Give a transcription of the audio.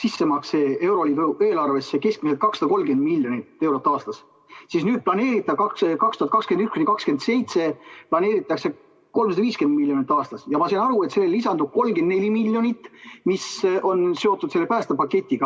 sissemakse euroliidu eelarvesse keskmiselt 230 miljonit eurot aastas, siis 2021–2027 planeeritakse 350 miljonit aastas, ja ma sain aru, et sellele lisandub 34 miljonit, mis on seotud selle päästepaketiga.